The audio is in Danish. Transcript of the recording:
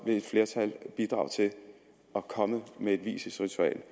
vil et flertal bidrage til at komme med et vielsesritual